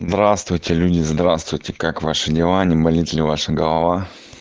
здравствуйте люди здравствуйте как ваши дела не болит ли ваша голова